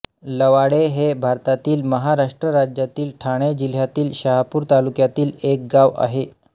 लवाळे हे भारतातील महाराष्ट्र राज्यातील ठाणे जिल्ह्यातील शहापूर तालुक्यातील एक गाव आहे